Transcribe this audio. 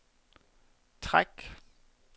træk